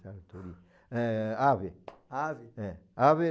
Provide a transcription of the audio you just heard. É, Ave. Ave? É, ave